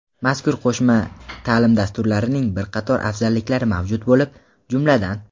Mazkur qo‘shma taʼlim dasturlarining bir qator afzalliklari mavjud bo‘lib, jumladan:.